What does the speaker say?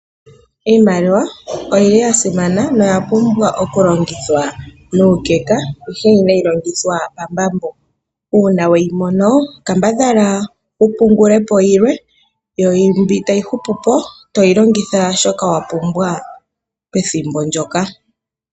Iimaliwa oyili ya simana noya pumbwa okulongithwa nuukeka ihe inayi longithwa pombambo. uuna weyimono kambadhala wupungulepo yilwe yo mbi tayi hupupo toyi longitha shoka wapumbwa pethimbo ndoka.